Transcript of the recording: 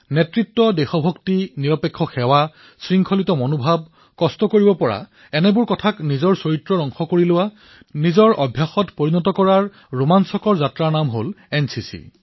নেতৃত্ব দেশভক্তি স্বাৰ্থহীন সেৱা নিয়মানুৱৰ্তিতা কঠোৰ পৰিশ্ৰম এই সকলোকে নিজৰ চৰিত্ৰৰ অংশ কৰি লৈ নিজৰ অভ্যাস নিৰ্মাণ কৰাৰ এক ৰোমাঞ্চক যাত্ৰাই হল এনচিচি